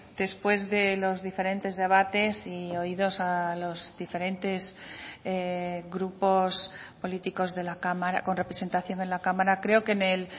después de los diferentes debates y oídos a los diferentes grupos políticos con representación en la cámara creo que en el